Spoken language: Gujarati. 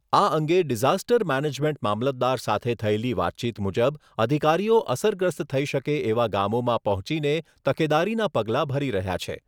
આ અંગે ડિઝાસ્ટર મેનેજમેન્ટ મામલતદાર સાથે થયેલી વાતચીત મુજબ અધિકારીઓ અસરગ્રસ્ત થઈ શકે એવા ગામોમાં પહોંચીને તકેદારીનાં પગલાં ભરી રહ્યા છે.